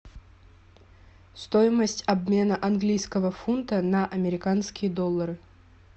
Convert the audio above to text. стоимость обмена английского фунта на американские доллары